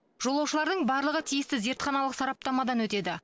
жолаушылардың барлығы тиісті зертханалық сараптамадан өтеді